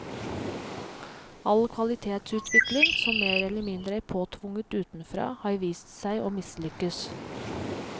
All kvalitetsutvikling som mer eller mindre er påtvunget utenfra har vist seg å mislykkes.